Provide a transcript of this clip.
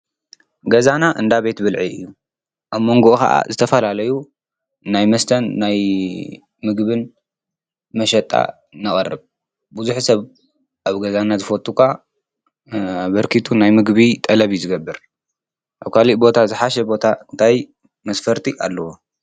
ገዛና እንዳ ቤት ብልዒ እዩ:: ኣብ መንጉኡ ክዓ ዝተፈላለዩ ናይ መስተን ናይ ምግብን መሸጣ ነቅርብ፡፡ ብዙሕ ሰብ ኣብ ገዛና ዝፈቱ ክዓ ኣበርኪቱ ናይ ምግቢ ጠለብ እዩ ዝገብር፡፡ ኣብ ካሊእ ቦታ ዝሓሸ ቦታ እንታይ መስፈርቲ ኣለዎ?